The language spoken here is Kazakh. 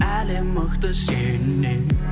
әлем мықты сеннен